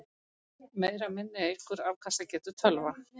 Meira minni eykur afkastagetu tölva.